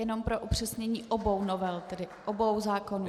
Jenom pro upřesnění: obou novel, tedy obou zákonů?